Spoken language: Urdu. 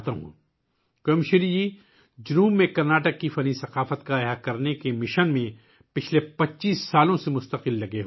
'کویم شری' پچھلے 25 سالوں سے کرناٹک کے جنوب میں آرٹ کلچر کو دوبارہ زندہ کرنے کے مشن میں لگاتار مصروف ہیں